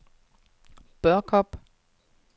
Børkop